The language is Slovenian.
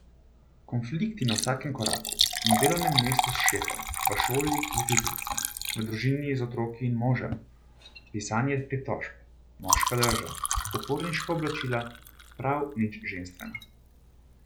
Konflikti na vsakem koraku, na delovnem mestu s šefom, v šoli z učiteljicami, v družini z otroki in možem, pisanje pritožb, moška drža, uporniška oblačila, prav nič ženstvena.